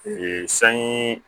Ee sanji